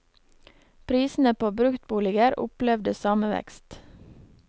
Prisene på bruktboliger opplevde samme vekst.